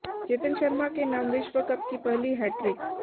चेतन शर्मा के नाम विश्व कप की पहली हैट्रिक